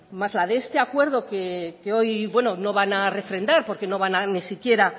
más la de este acuerdo que hoy no van refrendar porque ni siquiera